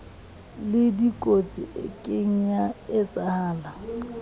lekotsi e kieng ya etshahala